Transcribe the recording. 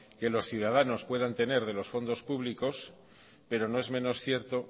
que los ciudadanos puedan tener de los fondos públicos pero no es menos cierto